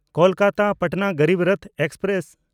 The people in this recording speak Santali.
ᱠᱳᱞᱠᱟᱛᱟ–ᱯᱟᱴᱱᱟ ᱜᱚᱨᱤᱵ ᱨᱚᱛᱷ ᱮᱠᱥᱯᱨᱮᱥ